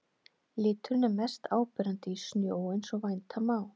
Liturinn er mest áberandi í snjó eins og vænta má.